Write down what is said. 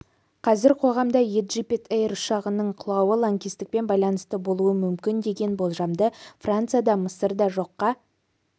қазір қоғамда еджипт-эйр ұшағының құлауы лаңкестікпен байланысты болуы мүмкін деген болжамды франция да мысыр да жоққа